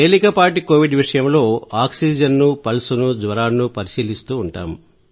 తేలికపాటి కోవిడ్ విషయంలో ఆక్సిజన్ ను పల్స్ ను జ్వరాన్ని పరిశీలిస్తూ ఉంటాం